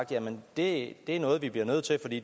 det